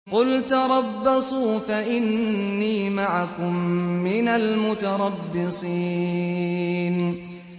قُلْ تَرَبَّصُوا فَإِنِّي مَعَكُم مِّنَ الْمُتَرَبِّصِينَ